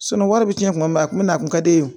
wari bɛ tiɲɛ tuma min na a kun bɛ a kun ka di ne ye